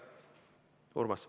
Urmas.